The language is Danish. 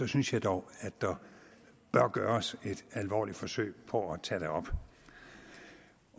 synes jeg dog at der bør gøres et alvorligt forsøg på at tage det op